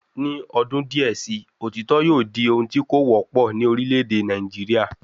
Ni odun díè sii, òtítọ́ yóò di ohun tí kò wọ́pọ̀ ní orílẹ̀ èdè Nàìjíríà